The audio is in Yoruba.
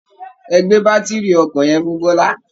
Ẹ gbé bátiri ọkọ̀ yẹn fún bọ́lá